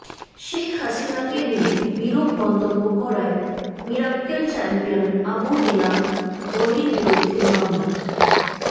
শেখ হাসিনাকে নিয়ে বিরূপ মন্তব্য করায় মিরাক্কেল চ্যাম্পিয়ন আবু হেনা রনির বিরুদ্ধে মামলা